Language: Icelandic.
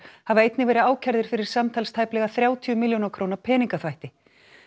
hafa einnig verið ákærðir fyrir samtals tæplega þrjátíu milljóna króna peningaþvætti